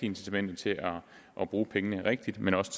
incitamenter til at bruge pengene rigtigt men også